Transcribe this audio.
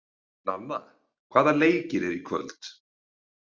Nanna, hvaða leikir eru í kvöld?